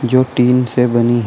जो टीन से बनी है।